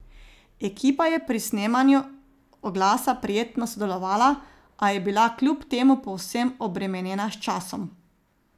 Ekipa je pri snemanju oglasa prijetno sodelovala, a je bila kljub temu povsem obremenjena s časom.